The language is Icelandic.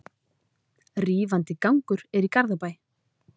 Rífandi gangur er í Garðabæ.